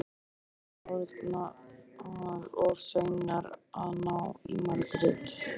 Við erum orðnar of seinar að ná í Margréti.